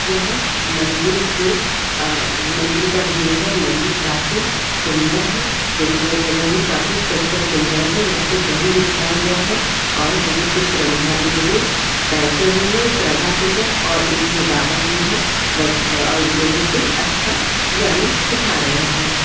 यहाँ मन्दिर के आ मंदिर का व्यू है मंदिर काफी सुंदर है लेकिन यह जगह भी काफी स्वच्छ और सुंदर है यहाँ पर दरी बिछाया गया है और बहुत से श्रद्धांजलु बैठे हुए हैं श्रद्धा पूर्वक और एक जो बाबा जी है ब लोगो को अच्छा ज्ञान सिखा रहे हैं।